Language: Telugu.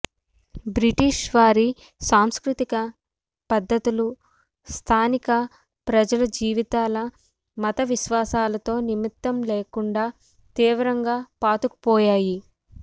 బ్రిటీషు వారి సాంస్కృతిక పద్ధతులు స్థానిక ప్రజల జీవితాల మత విశ్వాసాలతో నిమిత్తం లేకుండా తీవ్రంగా పాతుకు పోయాయి